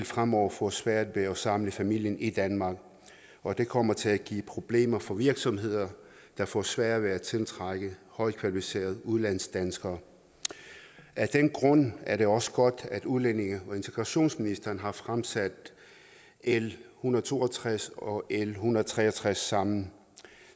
fremover få svært ved at samle familien i danmark og det kommer til at give problemer for virksomheder der får sværere ved at tiltrække højt kvalificerede udlandsdanskere af den grund er det også godt at udlændinge og integrationsministeren har fremsat l en hundrede og to og tres og l en hundrede og tre og tres sammen